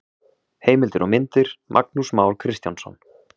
Heimildir og myndir: Magnús Már Kristjánsson.